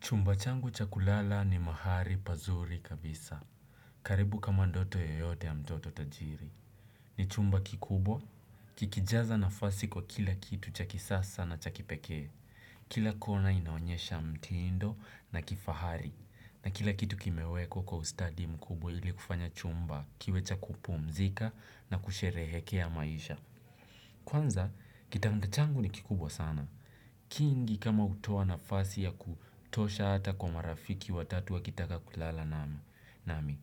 Chumba changu cha kulala ni mahali pazuri kabisa. Karibu kama ndoto yoyote ya mtoto tajiri. Ni chumba kikubwa kikijaza nafasi kwa kila kitu cha kisasa na cha kipekee kila kona inaonyesha mtindo na kifahari. Na kila kitu kimewekwa kwa ustadi mkubwa ili kufanya chumba kiwe cha kupumzika na kusherehekea maisha. Kwanza, kitanda changu ni kikubwa sana. Kingi kama hutoa nafasi ya kutosha ata kwa marafiki watatu wakitaka kulala nami.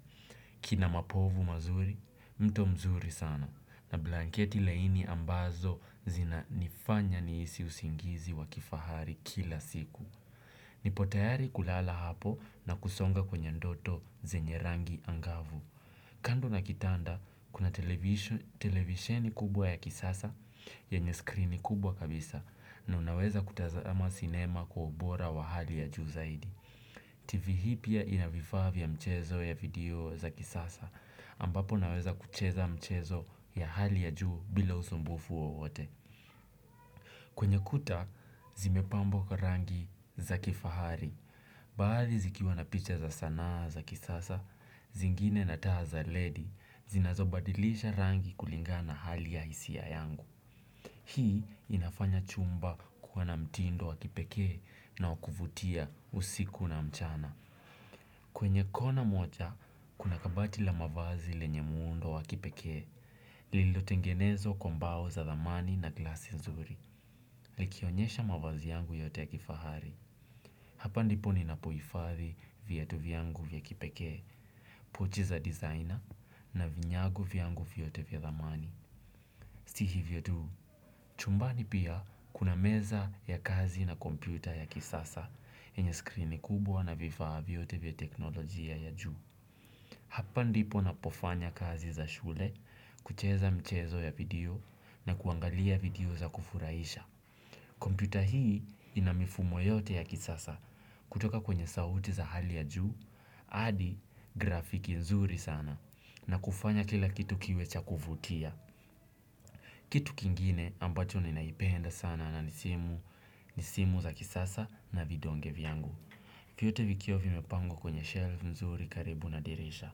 Kina mapovu mazuri mto mzuri sana na blanketi laini ambazo zina nifanya nihisi usingizi wakifahari kila siku. Nipotayari kulala hapo na kusonga kwenye ndoto zenye rangi angavu. Kando na kitanda, kuna televisheni kubwa ya kisasa, yenye screeni kubwa kabisa, na unaweza kutazama cinema kwa ubora wa hali ya juu zaidi. TV hii pia inavifaa vya mchezo ya video za kisasa, ambapo naweza kucheza mchezo ya hali ya juu bila usumbufu wowote. Kwenye kuta, zimepambwa kwa rangi za kifahari. Baadhi zikiwa na picha za sanaa za kisasa, zingine na taa za LED zinazo badilisha rangi kulingana na hali ya hisia yangu hii inafanya chumba kuwa na mtindo wa kipekee na wa kuvutia usiku na mchana. Kwenye kona moja, kuna kabati la mavazi lenye mundo wa kipekee. Lililo tengenezwa kwa mbao za dhamani na glasi nzuri. Likionyesha mavazi yangu yote ya kifahari hapa ndipo ninapo hifadhi viatu vyangu vya kipekee. Pochi za dizaina na vinyago vyangu vyote vya dhamani si hivyo tu, chumbani pia kuna meza ya kazi na kompyuta ya kisasa yenye skrini kubwa na vifaa vyote vya teknolojia ya juu hapa ndipo napofanya kazi za shule kucheza mchezo ya video na kuangalia video za kufurahisha kompyuta hii inamifumo yote ya kisasa kutoka kwenye sauti za hali ya juu, hadi grafiki nzuri sana na kufanya kila kitu kiwe cha kuvutia. Kitu kingine ambacho ninapenda sana na ni simu za kisasa na vidonge vyangu. Vyote vikiwa vimepangwa kwenye shelf nzuri karibu na dirisha.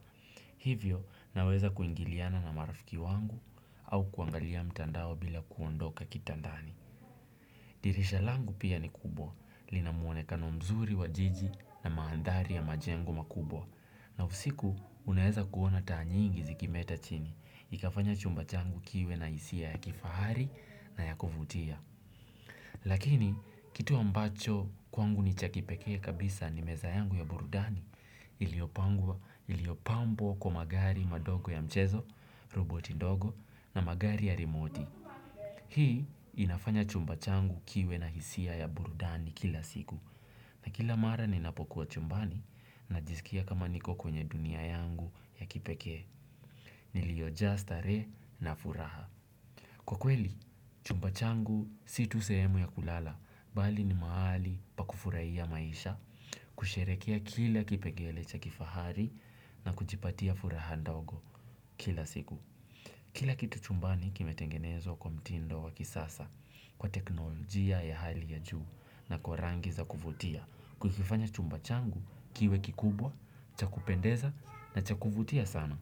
Hivyo naweza kuingiliana na marafiki wangu au kuangalia mtandao bila kuondoka kitandani. Dirisha langu pia ni kubwa linamwonekano mzuri wa jiji na mandhari ya majengo makubwa na usiku, uneweza kuona taa nyingi zikimeta chini. Ikafanya chumba changu kiwe na hisia ya kifahari na ya kuvutia. Lakini, kitu ambacho kwangu ni cha kipekee kabisa ni meza yangu ya burudani. Iliyopangwa, iliyopambwa kwa magari madogo ya mchezo, roboti ndogo na magari ya remoti. Hii inafanya chumba changu kiwe na hisia ya burudani kila siku na kila mara ninapokuwa chumbani na jisikia kama niko kwenye dunia yangu ya kipekee. Niliojaa starehe na furaha. Kwa kweli, chumba changu si tu sehemu ya kulala, bali ni mahali pa kufurahia maisha, kusherehekea kila kipengele cha kifahari na kujipatia furaha ndogo kila siku. Kila kitu chumbani kime tengenezwa kwa mtindo wa kisasa kwa teknolojia ya hali ya juu na kwa rangi za kuvutia, kukifanya chumba changu kiwe kikubwa, cha kupendeza na cha kuvutia sana.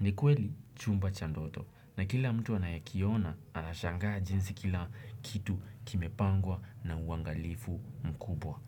Ni kweli chumba cha ndoto na kila mtu anayekiona anashangaa jinsi kila kitu kimepangwa na uwangalifu mzuri.